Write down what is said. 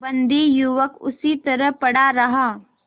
बंदी युवक उसी तरह पड़ा रहा